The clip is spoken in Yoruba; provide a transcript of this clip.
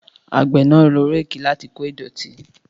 Àgbẹ̀ náà lo réèkì láti kó ìdọ̀tí